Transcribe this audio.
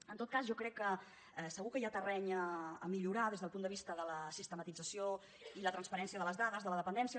en tot cas jo crec que segur que hi ha terreny per millorar des del punt de vista de la sistematització i la transparència de les dades de la dependència